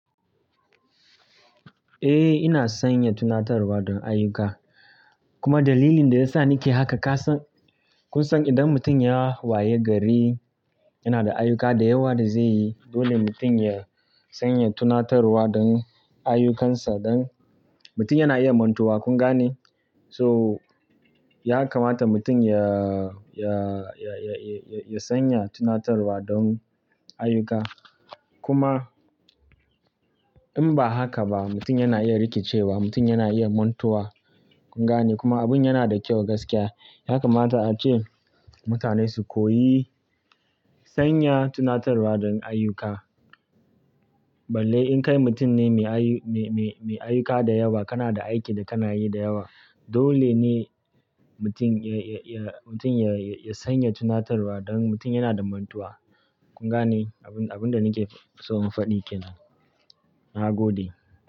Eh, ina sanya tunatarwa don ayyuka. Kuma dalilin da ya sa nake haka, ka san-- kun san idan mutum ya waye gari, yana da ayyuka da yawa da zai yi. Dole mutum ya sanya tunatarwa don ayyukansa don mutum yana iya mantuwa. Kun gane? So, ya kamata mutum ya, ya, ya, ya, ya, ya sanya tunatarwa don ayyuka. Kuma in ba haka ba, mutum yana iya rikicewa, mutum yana iya mantuwa. Kun gane? Kuma abun yana da kyau gaskiya. Ya kamata ace mutane su koyi sanya tunatarwa don ayyuka. Balle in kai mutum ne mai ayu-- mai, mai, mai ayyuka da yawa, kana da aiki da kana yi da yawa, dole ne mutum ya, ya, ya, mutum ya, ya, ya sanya tunatarwa don mutum yana da mantuwa. Kun gane? Abun, abun da nake so in faɗi kenan. Na gode.